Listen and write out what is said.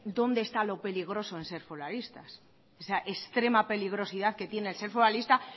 dónde está lo peligroso en ser foralistas extrema peligrosidad que tiene el ser foralista